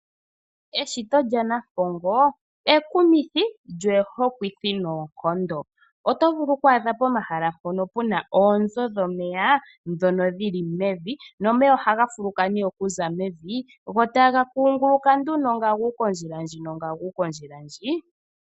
Eshito lyaNampongo ekumithi lyo oho kwithi noonkondo. Oto vulu okwaadha pomahala mpono puna oonzo dhomeya, dhono dhili mevi, nomeya ohaga fuluka ne okuza mevi go taga kunguluka nduno nga guuka ondjila ndjino nga guuka ondjila ndji.